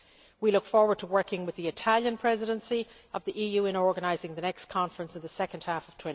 We look forward to working with the Italian Presidency of the EU in organising the next conference in the second half